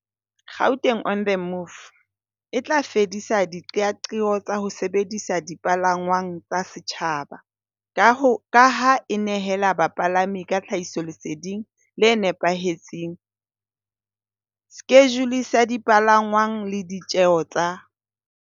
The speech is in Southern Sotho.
Gauteng on the Move e tla fedisa diqeaqeo tsa ho sebedisa dipalangwang tsa setjhaba, ka ho ka ha e nehela bapalami ka tlhahisoleseding le nepahetseng, skejule sa dipalangwang le di tjeo tsa